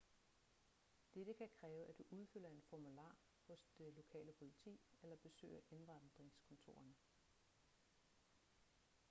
dette kan kræve at du udfylder en formular hos det lokale politi eller besøger indvandringskontorerne